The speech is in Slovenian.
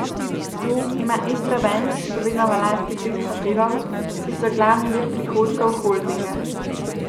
Tu ima Istrabenz še vedno v lasti pet hotelov, ki so glavni vir prihodkov holdinga.